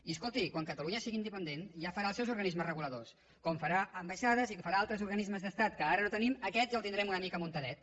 i escolti quan catalunya sigui independent ja farà els seus organismes reguladors com farà ambaixades i farà altres organismes d’estat que ara no tenim aquest ja el tindrem una mica muntadet